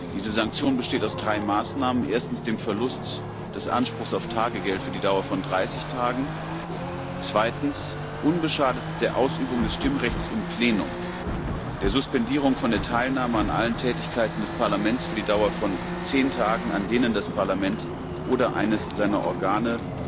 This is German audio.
Diese Sanktion besteht aus drei Maßnahmen 1 dem Verlust des Anspruchs auf Tagegeld für die Dauer von 30 Tagen, 2 unbeschadet der Ausübung des Stimmrechts im Plenum der Suspendierung von der Teilnahme an allen Tätigkeiten des Parlaments für die Dauer von zehn Tagen, an denen das Parlament oder eines seiner Organe,